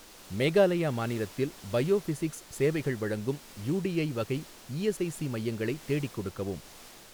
மேகாலயா மாநிலத்தில் பயோஃபிஸிக்ஸ் சேவைகள் வழங்கும் யூடிஐ வகை இஎஸ்ஐஸி மையங்களை தேடிக் கொடுக்கவும்.